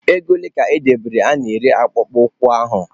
Ego ole ka edere a na-ere akpụkpọ ụkwụ ahụ?